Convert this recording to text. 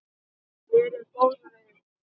Verið góð við ykkur.